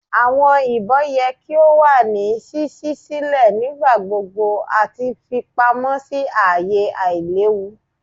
Awọn ibon yẹ ki o wa ni ṣiṣi silẹ nigbagbogbo ati fipamọ si aaye ailewu.